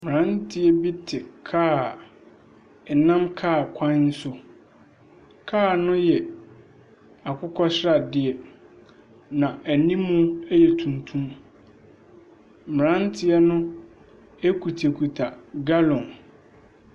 Mmeranteɛ bi te kaa a ɛnam kaa kwan no so. Kaa no yɛ akokɔ sradeɛ, na anim yɛ tuntum. Mmeranteɛ no kutakuta gallon.